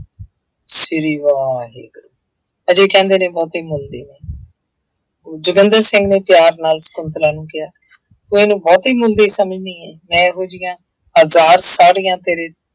ਸ੍ਰੀ ਵਾਹਿਗੁਰੂ, ਹਜੇ ਕਹਿੰਦੇ ਨੇ ਬਹੁਤੇ ਮੁਲ ਦੀ ਨਹੀਂ ਜੋਗਿੰਦਰ ਸਿੰਘ ਨੇ ਪਿਆਰ ਨਾਲ ਸਕੁੰਤਲਾ ਨੂੰ ਕਿਹਾ ਮੈਨੂੰ ਬਹੁਤੇ ਮੁੱਲ ਦੀ ਸਮਝ ਨਹੀਂ ਆਈ ਮੈਂ ਇਹੋ ਜਿਹੀਆਂ ਹਜ਼ਾਰ ਸਾੜੀਆਂ ਤੇਰੇ